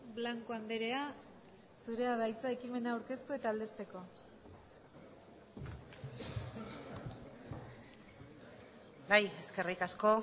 blanco andrea zurea da hitza ekimena aurkeztu eta aldezteko bai eskerrik asko